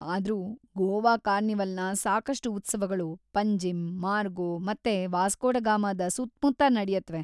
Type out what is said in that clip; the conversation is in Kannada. ಆದ್ರೂ ಗೋವಾ ಕಾರ್ನಿವಲ್‌ನ ಸಾಕಷ್ಟು ಉತ್ಸವಗಳು ಪಂಜಿಮ್‌, ಮಾರ್ಗೋ, ಮತ್ತೆ ವಾಸ್ಕೋ ಡ ಗಾಮದ ಸುತ್ಮುತ್ತ ನಡ್ಯತ್ವೆ.